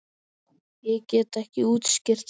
Ég get ekki útskýrt það.